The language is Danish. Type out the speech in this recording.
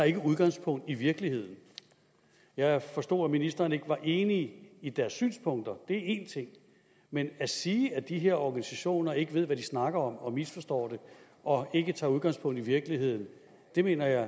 ikke tager udgangspunkt i virkeligheden jeg forstår at ministeren ikke var enig i deres synspunkter og én ting men at sige at de her organisationer ikke ved hvad de snakker om misforstår det og ikke tager udgangspunkt i virkeligheden mener jeg